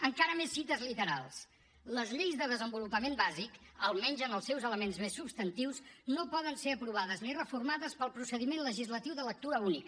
encara més cites literals les lleis de desenvolupament bàsic almenys en els seus elements més substantius no poden ser aprovades ni reformades pel procediment legislatiu de lectura única